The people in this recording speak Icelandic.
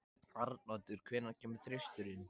Arnoddur, hvenær kemur þristurinn?